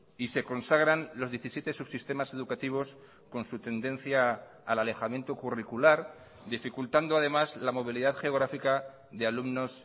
y se consagran los diecisiete subsistemas educativos con su tendencia al alejamiento curricular dificultando además la movilidad geográfica de alumnos